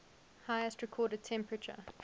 highest recorded temperature